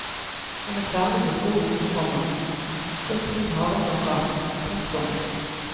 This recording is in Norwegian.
Han er ferdig med skolen, komma så tid har han nok av. punktum